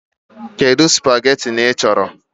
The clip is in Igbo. Kedu spageetí ị chọrọ?